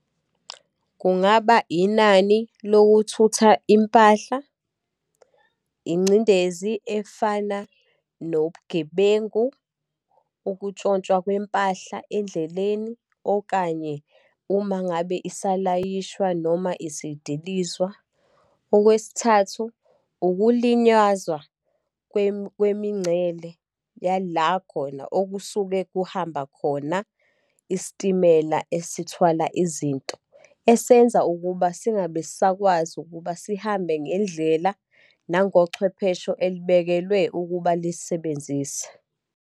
Kungaba inani lokuthutha impahla, ingcindezi efana nobugebengu, ukutshontshwa kwempahla endleleni, okanye uma ngabe isalayishwa, noma isidilizwa. Okwesithathu, ukulinyazwa kwemincele yala khona okusuke kuhamba khona isitimela esithwala izinto, esenza ukuba singabe sakwazi ukuba sihambe ngendlela nangochwephesho elibekelwe ukuba lisisebenzise.